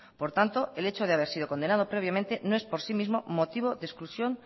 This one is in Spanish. por tanto el hecho de haber sido condenado previamente no es por sí mismo motivo de exclusión